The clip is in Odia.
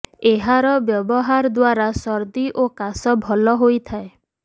ଏହାର ବ୍ୟବହାର ଦ୍ବାରା ସର୍ଦ୍ଦି ଓ କାଶ ଭଲ ହୋଇଥାଏ